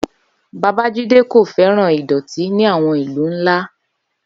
Babajide kò fẹ́ràn ìdọ̀tí ní àwọn ìlú ńlá.